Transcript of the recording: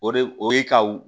O de o ye ka